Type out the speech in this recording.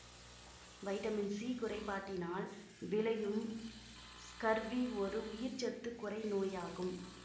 vitamin C குறைபாட்டினால் விளையும் scurvy ஒரு உயிர்ச்சத்துக் குறைநோயாகும்